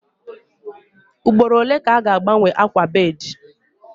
Ugboro ole ka a ga-agbanwe akwa bedii?